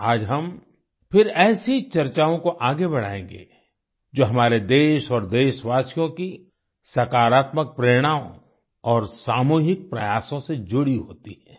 आज हम फिर ऐसी चर्चाओं को आगे बढ़ाएंगे जो हमारे देश और देशवासियों की सकारात्मक प्रेरणाओं और सामूहिक प्रयासों से जुड़ी होती है